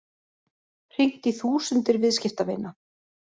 Hringt í þúsundir viðskiptavina